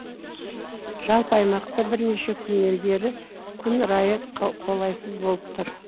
жалпы аймақта бірнеше күннен бері күн райы қолайсыз болып тұр